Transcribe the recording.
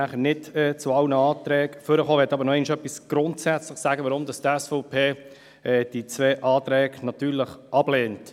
Ich möchte noch einmal etwas Grundsätzliches dazu sagen, weshalb die SVP diese beiden Anträge natürlich ablehnt.